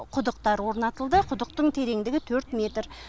құдықтар орнатылды құдықтың тереңдігі төрт метр